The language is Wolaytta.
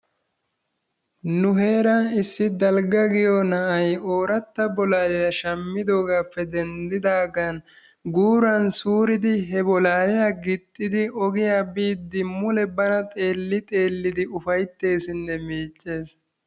Nu heeran issi Dalgga giyo na'ay ooratta bolaliya shammidoogappe denddidaagan guuran suuridi he bolalliya gixxidi ogiyaa biide mule bana xeelli xeellidi ufaytteesinne miiccees.